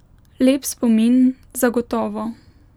Lep spomin, zagotovo.